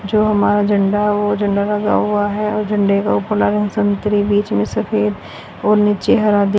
जो हमारा झंडा है वो झंडा लगा हुआ है और झंडे का ऊपर ला संतरी बीच में सफेद और नीचे हरा--